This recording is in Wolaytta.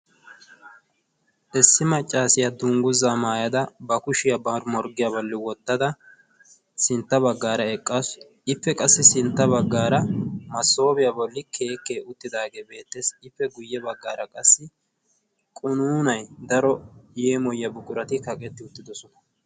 Issi maccaasiyaa dungguzaa maayada ba kushiyaa barimorggiyaa balli wottada sintta baggaara eqqaasu. ippe qassi sintta baggaara masoobiyaa bolli keekkee uttidaagee beettessi. ippe guyye baggaara qassi qunuunay daro yeemoyiyaa buqirati kaqetti uttidosona.